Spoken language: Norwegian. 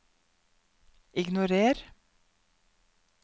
ignorer